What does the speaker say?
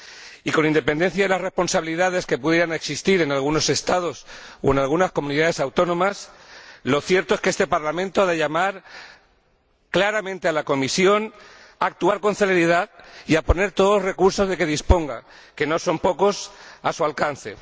Y con independencia de las responsabilidades que pudieran existir en algunos Estados o en algunas comunidades autónomas, lo cierto es que este Parlamento ha de llamar claramente a la Comisión a actuar con celeridad y a poner todos los recursos de que disponga, que no son pocos, a su alcance.